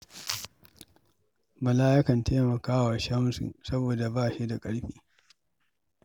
Bala yakan taimaka wa Shamsu saboda ba shi da ƙarfi.